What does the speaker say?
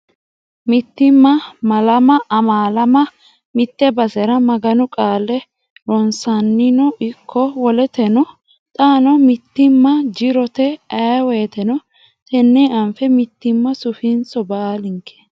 Mittimma malama amaalamma mite basera Maganu qaale ronsannino ikko woletenino xaano mittimma jirote ayee woyteno tene anfe mittimma sufisiiso baallinke.